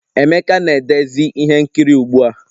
Emeka na-edezi ihe nkiri ugbu a